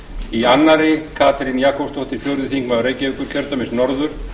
í öðrum katrín jakobsdóttir fjórði þingmaður reykjavíkurkjördæmis norður